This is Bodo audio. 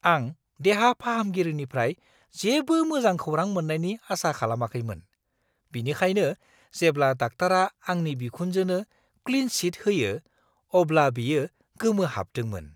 आं देहा फाहामगिरिनिफ्राय जेबो मोजां खौरां मोन्नायनि आसा खालामाखैमोन, बिनिखायनो जेब्ला डाक्टारा आंनि बिखुनजोनो क्लिन चिट होयो, अब्ला बियो गोमोहाबदोंमोन!